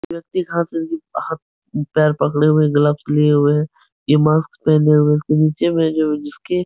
व्यक्ति घर से पैर पकड़े हुए ग्लव्स लिये हुए है। ये मास्क पहने हुए इसके नीचे में जो जिसके --